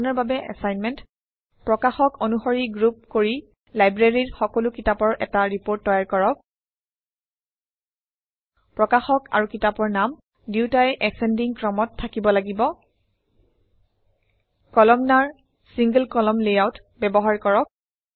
আপোনাৰ বাবে এছাইনমেণ্ট কলামনাৰ single কলামন লেয়াউট ব্যৱহাৰ কৰক